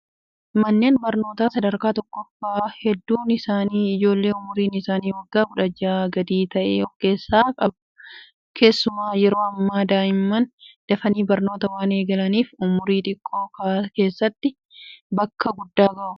Manneen barnootaa sadarkaa tokkoffaa hedduun isaanii ijoolleen umriin isaanii waggaa 16 gadi ta'e of keessaa qabu. Keessumaa yeroo ammaa daa'imman dafanii barnoota waan eegalaniif, umrii xiqqoo keessatti bakka guddaa gahu.